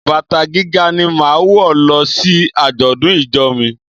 Bàtà gíga ni máa wò lọ sí àjọ̀dún ìjọ mi.